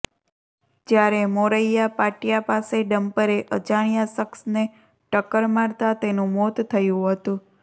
જ્યારે મોરૈયા પાટીયા પાસે ડમ્પરે અજાણ્યા શખ્સને ટક્કર મારતા તેનું મોત થયું હતું